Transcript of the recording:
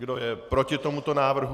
Kdo je proti tomuto návrhu?